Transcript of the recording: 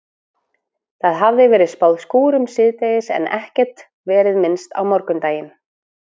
Það hafði verið spáð skúrum síðdegis en ekkert verið minnst á morguninn.